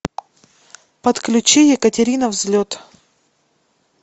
подключи екатерина взлет